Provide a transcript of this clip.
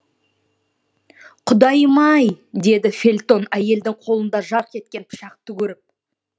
құдайым ай деді фельтон әйелдің қолында жарқ еткен пышақты көріп